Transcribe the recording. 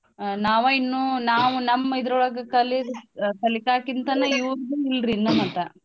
ನಾವ ಇನ್ನೂ ನಾವ್ ನಮ್ ಇದ್ರೊಳಗ ಕಲ್ಯೋದ್ ಅ ಕಲಿಕಾ ಇವ್ರ್ದೂ ಇಲ್ರಿ ಇನ್ನೂ ಮಟಾ.